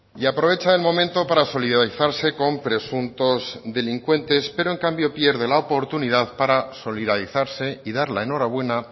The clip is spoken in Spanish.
y aprovecha el momento para solidarizarse con presuntos delincuentes pero en cambio pierde la oportunidad para solidarizarse y dar la enhorabuena